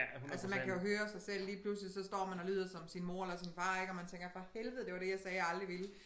Altså man kan jo høre sig selv lige pludselig så står man og lyder som sin mor eller sin far ik og man tænker for helvede det var det jeg sagde jeg aldrig ville